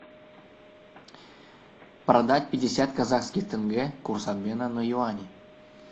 продать пятьдесят казахских тенге курс обмена на юани